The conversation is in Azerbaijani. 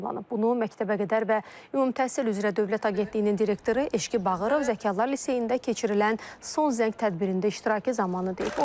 Bunu məktəbəqədər və ümumi təhsil üzrə Dövlət Agentliyinin direktoru Eşqi Bağırov Zəkalar liseyində keçirilən son zəng tədbirində iştirakı zamanı deyib.